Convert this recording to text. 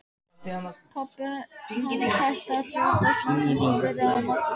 Pabbi hans hætti að hrjóta smástund en byrjaði svo aftur.